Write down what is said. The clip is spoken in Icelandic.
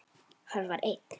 Hann var einn.